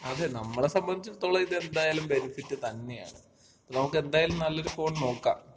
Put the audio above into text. അതെ. നമ്മള സംബന്ധിച്ചിടത്തോളം ഇതെന്തായാലും ബെനിഫിറ്റ് തന്നെയാണ്. നമുക്ക് എന്തായാലും നല്ലൊരു ഫോൺ നോക്കാം.